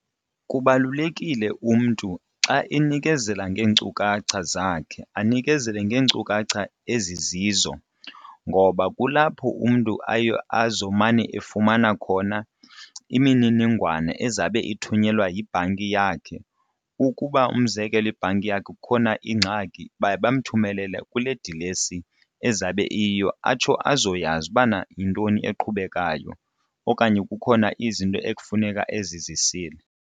Kubalulekile umntu xa enikezela ngeenkcukacha zakhe anikezele ngeenkcukacha ezizizo ngoba kulapho umntu aye azomane efumana khona imininingwane ezabe ithunyelwa yibhanki yakhe. Ukuba umzekelo iibhanki yakhe kukhona ingxaki baye bamthumelela kule dilesi ezabe iyiyo atsho azoyazi ubana yintoni eqhubekayo okanye kukhona izinto ekufuneka ezizisile.